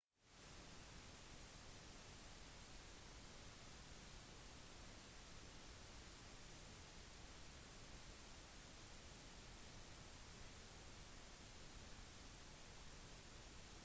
de gir mer stabilitet for rytteren men kan være mindre trygg grunnet muligheten for at en rytter blir sittende fast